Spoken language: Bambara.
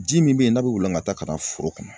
Ji min bɛ ye n'a bɛ wolokata ka na foro kɔnɔ